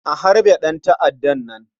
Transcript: A harbe ɗanta'addan nan.